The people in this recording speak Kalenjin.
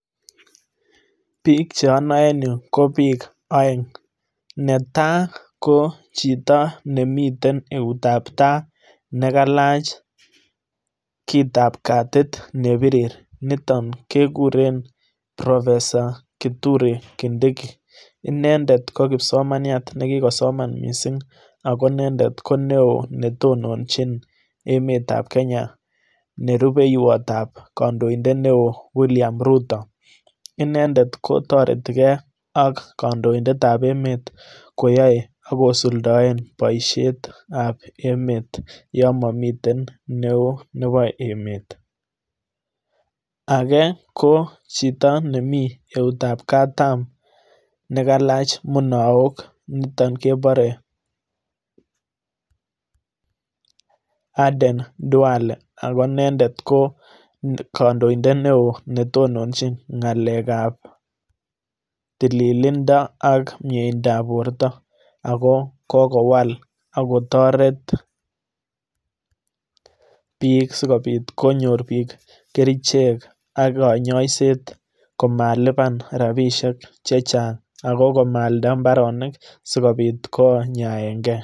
Bik cheonoe en yuu ko bik oeng, netai kojito nemiten eut ab tai nekailach kitap katit nebirir niton kekuren professor kituri kindiki inendet kokipsomaniaet nekikosoman missing ako inendet ko neo netononji emet ab kenya nerubeiwot ab kondoindet neo wiliam Ruto inendet kotoreti gee ak kotondidet nebo emet koyoe ak kosuldoen boishet ab emet yon momiten neo nebo emet, ake kochito nemii eut ab katam nekailach munaok niton keporee, Aden ndwale ako inendet kokondoindet neo netononjin ngalek ab tililindo ak miendap borto ako kokowal ako toret biik sikopit konyor biik kerechek ak konyoset komalipan rabishek che chang ako komaalda imbaronik sikopit konyaen gee.